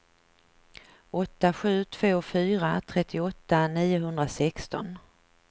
åtta sju två fyra trettioåtta niohundrasexton